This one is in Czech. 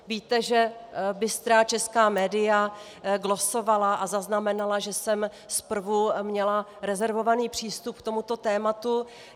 Víte, že bystrá česká media glosovala a zaznamenala, že jsem zprvu měla rezervovaný přístup k tomuto tématu.